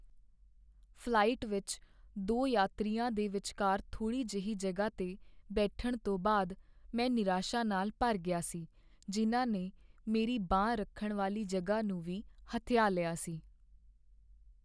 Flight ਵਿਚ ਦੋ ਯਾਤਰੀਆਂ ਦੇ ਵਿਚਕਾਰ ਥੋੜੀ ਜਿਹੀ ਜਗ੍ਹਾ 'ਤੇ ਬੈਠਣ ਤੋਂ ਬਾਅਦ ਮੈਂ ਨਿਰਾਸ਼ਾ ਨਾਲ ਭਰ ਗਿਆ ਸੀ ਜਿਨ੍ਹਾਂ ਨੇ ਮੇਰੀ ਬਾਂਹ ਰੱਖਣ ਵਾਲੀ ਜਗ੍ਹਾ ਨੂੰ ਵੀ ਹਥਿਆ ਲਿਆ ਸੀ।